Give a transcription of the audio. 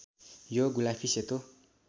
यो गुलाफी सेतो